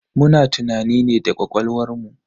Muna tunani ne da ƙwaƙwalwar mu.